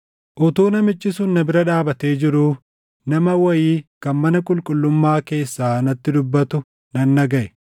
Utuu namichi sun na bira dhaabatee jiruu, nama wayii kan mana qulqullummaa keessaa natti dubbatu nan dhagaʼe.